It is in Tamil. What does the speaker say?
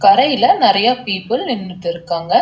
கரையில நறையா பீப்பிள் நின்னுட்டு இருக்காங்க.